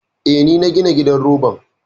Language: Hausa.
Eh, ni na gina gidan roban.